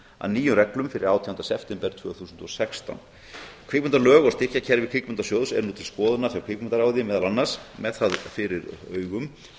að nýjum reglum fyrir átjánda september tvö þúsund og sextán kvikmyndalög og styrkjakerfi kvikmyndasjóðs eru nú til skoðunar hjá kvikmyndaráði meðal annars með það fyrir augum